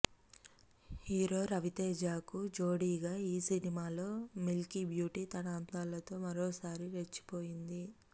hero రవితేజకు జోడీగా ఈ సినిమాలో మిల్కీబ్యూటీ తన అందాలతో మరోసారి రెచ్చిపోయింది